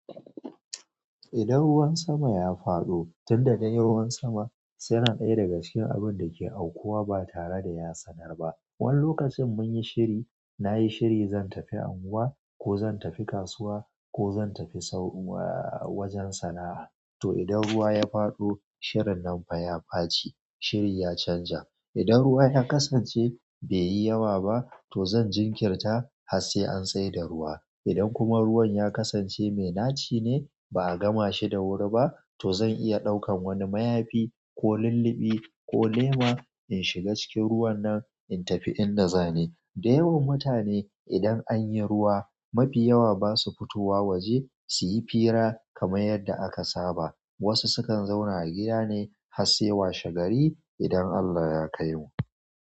Idan ruwan sama ya faɗo, tun da dai ruwan sama yana ɗaya daga cikin abun da ke aukuwa ba tare da ya sanar ba. Wani lokacin mun yi shiri, na yi shiri zan tafi unguwa ko zan tafi kasuwa ko zan tafi wajen sana'a. To idan ruwa ya faɗo, shirin nan fa ya ɓaci. Shirin ya canja. Idan ruwa ya kasance bai yi yawa ba, to zan jinkirta har sai an tsai da ruwa. Idan kuma ruwan ya kasance mai naci ne ba a gama shi da wuri ba, to zan iya ɗaukan wani mayafi ko lulluɓi ko lema in shiga cikin ruwan nan in tafi inda zani. Da yawan mutane idan anyi ruwa, mafi yawa basu fitowa waje suyi fira kamar yadda aka saba. Wasu sukan zauna a gida ne har sai washe gari idan Allah ya kaimu.